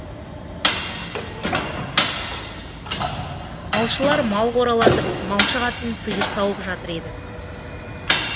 малшылар мал қоралатып малшы қатын сиыр сауып жатыр еді